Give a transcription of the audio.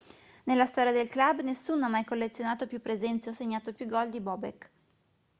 nella storia del club nessuno ha mai collezionato più presenze o segnato più gol di bobek